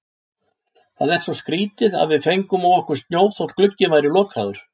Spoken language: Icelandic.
Það er svo skrýtið að við fengum á okkur snjó þótt glugginn væri lokaður.